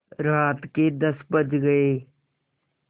रात के दस बज गये